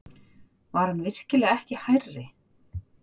Var hann virkilega ekki hærri?